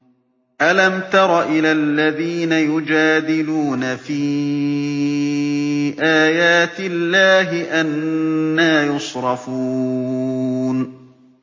أَلَمْ تَرَ إِلَى الَّذِينَ يُجَادِلُونَ فِي آيَاتِ اللَّهِ أَنَّىٰ يُصْرَفُونَ